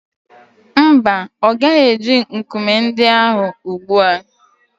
Mba, ọ gaghị eji nkume ndị ahụ ugbu a.